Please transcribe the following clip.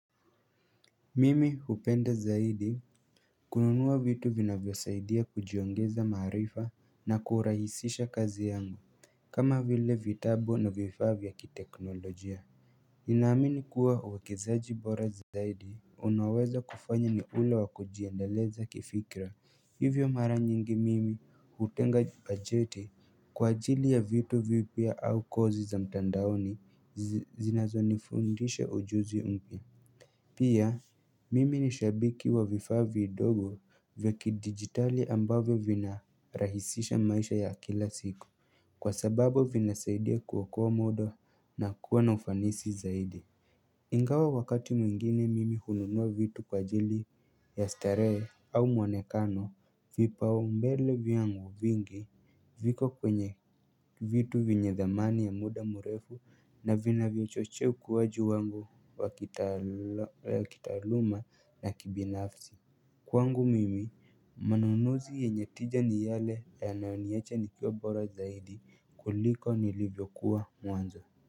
Mimi hupenda zaidi kununua vitu vinavyo saidia kujiongeza maarifa na kurahisisha kazi yangu kama vile vitabu na vifaa vya kiteknolojia Ninaamini kuwa wakizaji bora zaidi unaweza kufanya ni ula wakojiandeleza kifikira hivyo mara nyingi mimi hutenga bajeti kwa ajili ya vitu vipya au kozi za mtandaoni zinazonifundisha ujuzi mpya Pia mimi ni shabiki wa vifaa vidogo vya kidigitali ambavyo vinarahisisha maisha ya kila siku Kwa sababu vinasaidia kuokoa muda na kuwa na ufanisi zaidi Ingawa wakati mwingine mimi hununua vitu kwa ajili ya starehe au mwonekano vipao mbele vyangu vingi viko kwenye vitu venye dhamani ya muda mrefu na vinavyo chochea ukuwaji wangu wa kitaaluma na kibinafsi Kwangu mimi manunuzi yenye tija ni yale yanayoniacha nikiwa bora zaidi kuliko nilivyokuwa mwanzo.